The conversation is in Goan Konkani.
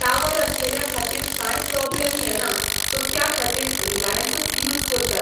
टावर आसलेल्या खातीर कांय प्रोब्लम येना सो त्या खातीर रिलायंसूच यूज करतात.